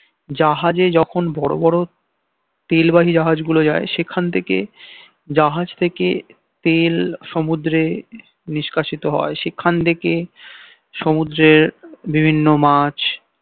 জাহাজে যখন বড় বড় তেলবাহী জাহাজ গুলো যায় সেখান থেকে জাহাজ থেকে তেল সমুদ্রে নিষ্কাশিত হয় সেখান থেকে সমুদ্রের বিভিন্ন মাছ